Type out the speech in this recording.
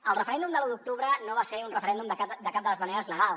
el referèndum de l’u d’octubre no va ser un referèndum de cap de les maneres legal